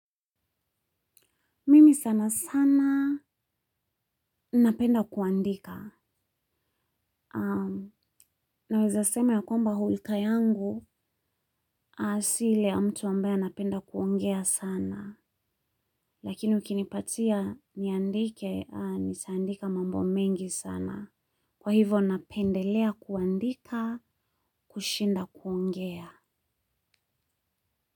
Mimi sana sana napenda kuandika. Naweza sema ya kwamba hulka yangu. Si ile ya mtu ambaye anapenda kuongea sana. Lakini ukinipatia niandike ni si andike mambo mengi sana. Kwa hivyo napendelea kuandika kushinda kuongea.